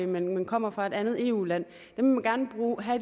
men kommer fra et andet eu land